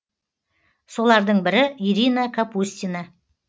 солардың бірі ирина капустина